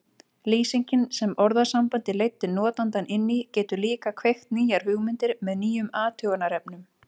Lýsingin sem orðasambandið leiddi notandann inn í getur líka kveikt nýjar hugmyndir með nýjum athugunarefnum.